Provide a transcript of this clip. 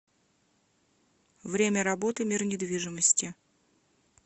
время работы мир недвижимости